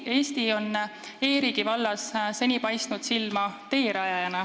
Eesti on e-riigi vallas seni teerajajana silma paistnud.